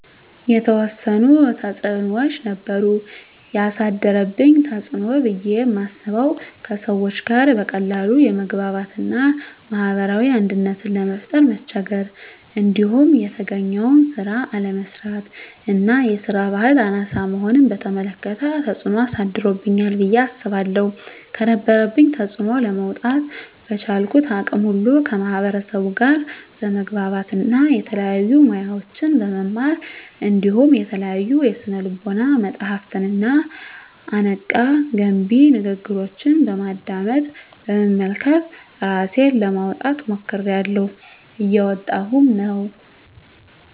የተዎሰኑ ተፅኖዎች ነበሩ። የአሳደረብኝ ተፅኖ ብየ ማስበው:- ከሰዎች ጋር በቀላሉ የመግባባት እና ማህበራዊ አንድነትን ለመፍጠር መቸገር። እንዲሁም የተገኘውን ስራ አለመስራት እና የስራ በህል አናሳ መሆንን በተመለከተ ተፅኖ አሳድሮብኛል ብየ አስባለሁ። ከነበረብኝ ተፅኖ ለመውጣ:- በቻልኩት አቅም ሁሉ ከማህበርሰቡ ጋር በመግባባት እና የተለያዩ ሙያዎችን በመማር እንዲሁም የተለያዩ የስነ ልቦና መፀሀፍትንና አነቃ፣ ገንቢ ንግግሮችን በማድመጥ፣ በመመልከት እራሴን ለማውጣት ሞክሬላሁ። እየወጣሁም ነው።